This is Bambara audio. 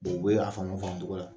u bɛ a faamu faamucɔgɔ la